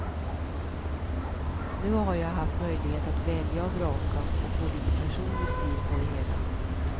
Nu har jag haft möjlighet att välja och vraka och få lite personlig stil på det hela.